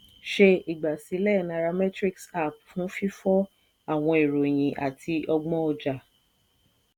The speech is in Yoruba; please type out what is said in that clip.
ṣe igbasilẹ nairametrics app fun fifọ awọn iroyin ati ọgbọn ọja.